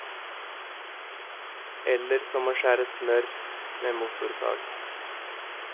Eller som å skjære smør med motorsag.